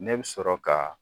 Ne bɛ sɔrɔ ka